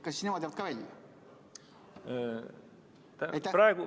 Kas nemad jäävad ka välja?